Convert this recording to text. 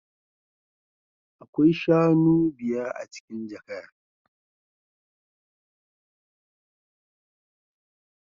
Akwai shanu biyar a cikin jakar